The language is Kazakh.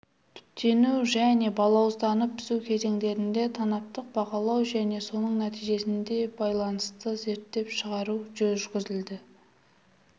түптену және балауызданып пісу кезеңдерінде танаптық бағалау және соның нәтижесіне байланысты есептеп шығару жүргізіледі